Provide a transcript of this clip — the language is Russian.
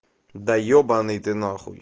да ебанный ты нахуй